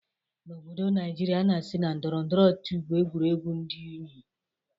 N'obodo Naijiria, a na-asi na ndọrọndọrọ ọchịchị bụ egwuregwu dị unyi.